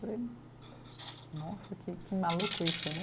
Nossa, que que maluco isso, né?